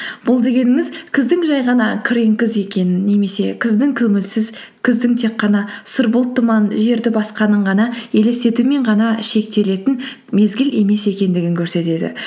бұл дегеніміз күздің жай ғана күрең күз екенін немесе күздің көңілсіз күздің тек қана сұр бұлт тұман жерді басқанын ғана елестетумен ғана шектелетін мезгіл емес екендігін көрсетеді